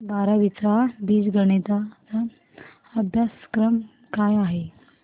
बारावी चा बीजगणिता चा अभ्यासक्रम काय आहे